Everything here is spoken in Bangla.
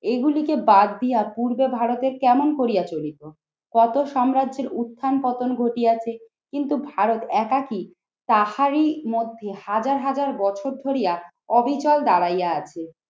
এগুলিকে বাদ দিয়া পূর্বে ভারতে কেমন করিয়া চলিত? কত সাম্রাজ্যের উত্থান পতন ঘটিয়াছে কিন্তু ভারত একাকী তাহারির মধ্যে হাজার হাজার বছর ধরিয়া অবিচল দাঁড়াইয়া আছে।